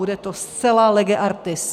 Bude to zcela lege artis.